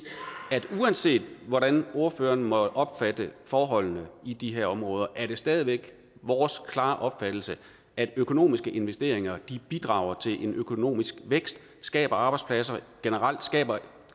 at uanset hvordan ordføreren måtte opfatte forholdene i de her områder er det stadig væk vores klare opfattelse at økonomiske investeringer bidrager til en økonomisk vækst skaber arbejdspladser generelt skaber